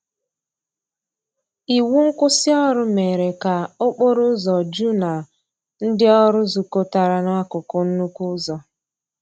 Iwụ nkwụsì ọrụ mere ka okporo ụzọ ju na ndi ọrụ zukotara na akụkụ nnukwu ụzọ.